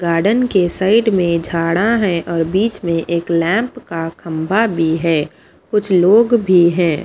Garden के side में झाड़ा हैं और बीच में एक लैंप का खंभा भी है कुछ लोग भी हैं।